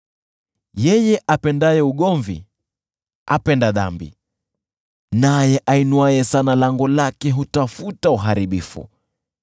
Yeye apendaye ugomvi apenda dhambi; naye ainuaye sana lango lake hutafuta uharibifu.